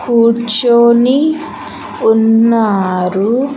కూర్చొని ఉన్నారు.